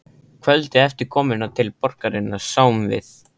Kvöldið eftir komuna til borgarinnar sáum við